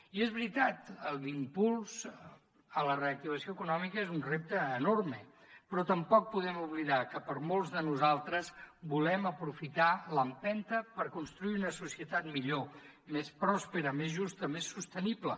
i és veritat l’impuls a la reactivació econòmica és un repte enorme però tampoc podem oblidar que molts de nosaltres volem aprofitar l’empenta per construir una societat millor més pròspera més justa més sostenible